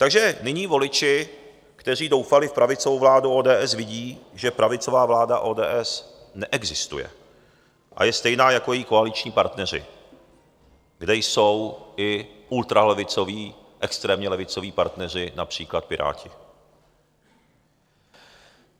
Takže nyní voliči, kteří doufali v pravicovou vládu ODS, vidí, že pravicová vláda ODS neexistuje a je stejná jako její koaliční partneři, kde jsou i ultralevicoví, extrémně levicoví partneři, například Piráti.